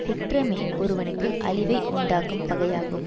குற்றமே ஒருவனுக்கு அழிவை உண்டாக்கும் பகையாகும்